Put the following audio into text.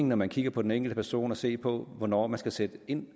når man kigger på den enkelte person at se på hvornår man skal sætte ind